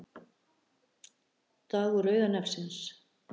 Dagur rauða nefsins